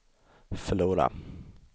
förlora